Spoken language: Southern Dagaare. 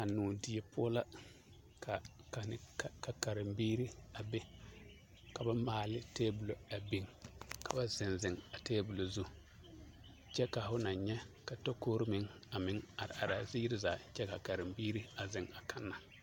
A noɔ die poɔ la ka kanne ka karembiiri a be ka ba maali tebolɔ a biŋ ka ba zeŋ zeŋ a tebolɔ zu kyɛ ka ho naŋ nyɛ a takorii meŋ a meŋ are araa ziiri zaa kyɛ kaa kerembiiri a zeŋ a kanna.